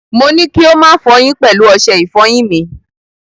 Mo ní kí ó má fọyín pẹ̀lú ọṣẹ ìfọyín mi.